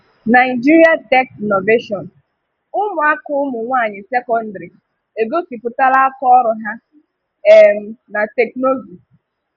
Nigerian Technovation: Ụmụaka ụmụnwaanyị sekọndrị̀ egosìputàlà àkàọrụ ha um na Teknụzụ.